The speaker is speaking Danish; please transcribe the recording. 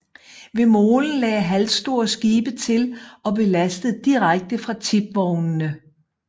Ved molen lagde halvstore skibe til og blev lastet direkte fra tipvognene